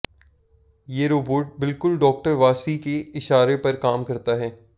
ये रोबोट बिलकुल डॉक्टर वासी के इशारे पर काम करता है